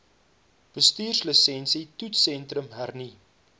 bestuurslisensie toetssentrum hernu